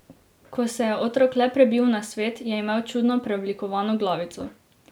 Ko se je otrok le prebil na svet, je imel čudno preoblikovano glavico.